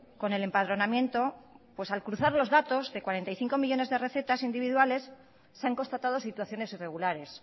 con el empadronamiento al cruzar los datos de cuarenta y cinco millónes de recetas individuales se han constatado situaciones irregulares